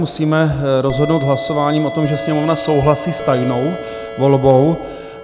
Musíme rozhodnout hlasováním o tom, že Sněmovna souhlasí s tajnou volbou.